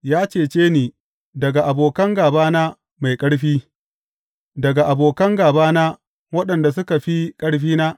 Ya cece ni daga abokin gābana mai ƙarfi, daga abokan gābana, waɗanda suka fi ƙarfina.